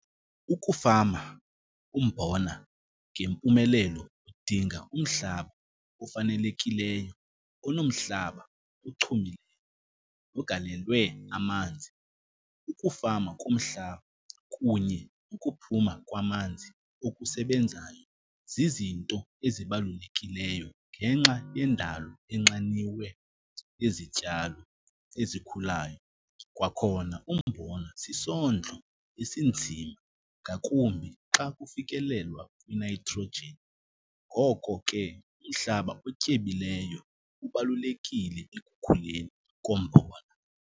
Ukufama umbona ngempumelelo udinga umhlaba ofanelekileyo onomhlaba ochumile, ogalelwe amanzi. Ukufama kumhlaba kunye nokuphuma kwamanzi okusebenzayo zizinto ezibalulekileyo ngenxa yendalo enxaniwe, izityalo ezikhulayo. Kwakhona umbona sisondlo esinzima, ngakumbi xa kufikelelwa kwi-nitrogen. Ngoko ke umhlaba otyebileyo ubalulekile ekukhuleni kombona.